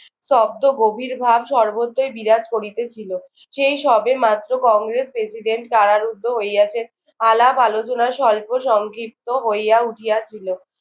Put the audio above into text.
স্তব্ধ গভীর ভাব সর্বত্রই বিরাজ করিতেছিল। সেই সবে মাত্র কংগ্রেস প্রেসিডেন্ট কারারুদ্ধ হইয়াছে। আলাপ-আলোচনা স্বল্প সংক্ষিপ্ত হইয়া উঠিয়াছিল।